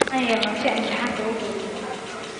Maxaan yeelnaa si aan imtixaanka ugu gudubno?